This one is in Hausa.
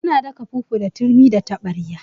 Ana daka fufu da turmi da taɓarya